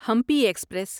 Hampi express